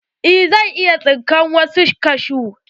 Eh zan iya tsinka wasu kashu.